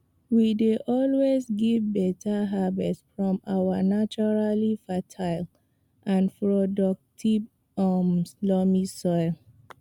we dey always get beta harvest from our naturally fertile and productive um loamy soil